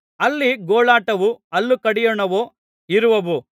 ಅಲ್ಲಿ ಗೋಳಾಟವೂ ಹಲ್ಲು ಕಡಿಯೋಣವೂ ಇರುವವು